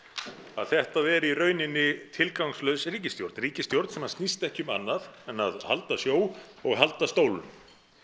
að þetta er í rauninni tilgangslaus ríkisstjórn ríkisstjórn sem snýst ekki um annað en að halda sjó og halda stólum